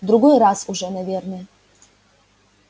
в другой раз уже наверное